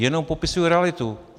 Jenom popisuji realitu.